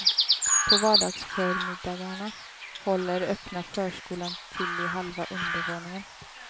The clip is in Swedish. På vardagsförmiddagarna håller öppna förskolan till i halva undervåningen.